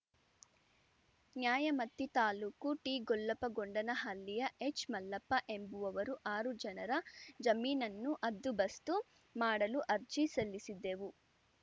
ನ್ಯಾಯಮತಿ ತಾಲೂಕು ಟಿಗೋಲ್ಲಪ್ಪಗೊಂಡನಹಳ್ಳಿಯ ಹೆಚ್‌ಮಲ್ಲಪ್ಪ ಎಂಬುವವರು ಆರುಜನರ ಜಮೀನನ್ನು ಹದ್ದುಬಸ್ತು ಮಾಡಲು ಅರ್ಜಿ ಸಲ್ಲಿಸಿದ್ದೆವು